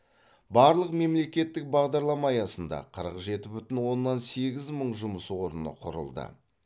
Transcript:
барлық мемлекеттік бағдарлама аясында қырық жеті бүтін оннан сегіз мың жұмыс орны құрылды